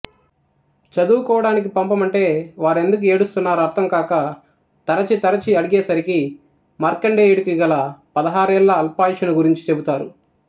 చదువుకోవడానికి పంపమంటే వారెందుకు ఏడుస్తున్నారో అర్థంకాక తరచి తరచి అడిగే సరికి మార్కండేయుడికి గల పదహారేళ్ల అల్పాయుష్షును గురించి చెబుతారు